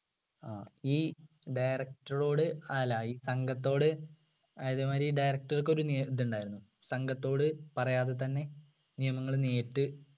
അഹ് ഈ director റോട് അല്ല ഈ സംഘത്തോട് അതെ മാതിരി ഈ director ക്ക് ഒരു ഇതുണ്ടായിരുന്നു സംഘത്തോട് പറയാതെ തന്നെ നിയമങ്ങൾ നേരിട്ട്